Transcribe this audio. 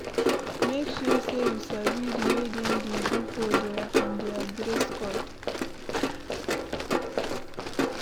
Make sure say you sabi the way dem de do for there and their dress code